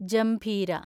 ജംഭീര